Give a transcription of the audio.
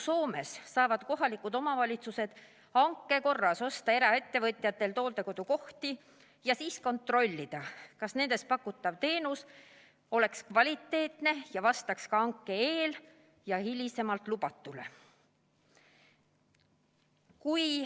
Soomes saavad kohalikud omavalitsused hanke korras osta eraettevõtjatelt hooldekodukohti ja siis kontrollida, kas nendes pakutav teenus on kvaliteetne ning vastab ka hanke eel ja järel lubatule.